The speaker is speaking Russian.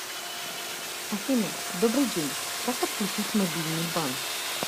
афина добрый день как отключить мобильный банк